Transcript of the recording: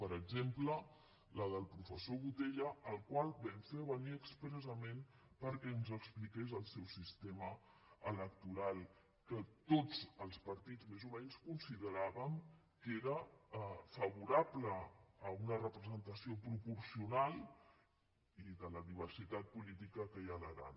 per exemple la del professor botella el qual vam fer venir expressa·ment perquè ens expliqués el seu sistema electoral que tots els partits més o menys consideràvem que era fa·vorable a una representació proporcional i de la diver·sitat política que hi ha a l’aran